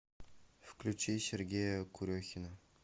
включи сергея курехина